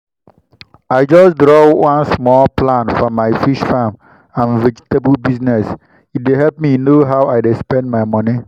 i just draw one small plan for my fish farm and vegetable business e dey help me know how i dey spend my money.